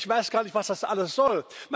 Ich weiß gar nicht, was das alles soll.